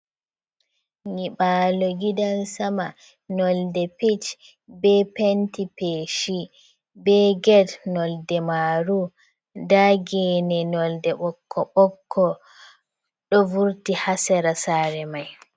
Nyiɓalo gidan sama nolde pich, be penti peshi, be get nolde marum nda gebne nolde ɓokko- ɓokko, ɗo vurti ha sera sare mai.